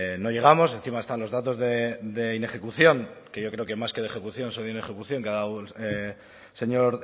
no llegamos y encima están los datos de inejecución que yo creo que más que de ejecución serían de inejecución que ha dado el señor